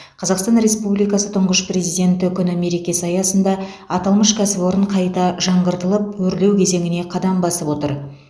қазақстан республикасы тұңғыш президенті күні мерекесі аясында аталмыш кәсіпорын қайта жаңғыртылып өрлеу кезеңіне қадам басып отыр